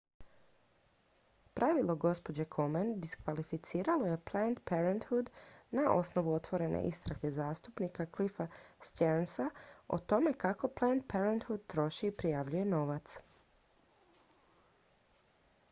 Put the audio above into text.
pravilo gđe komen diskvalificiralo je planned parenthood na osnovu otvorene istrage zastupnika cliffa stearnsa o tome kako planned parenthood troši i prijavljuje novac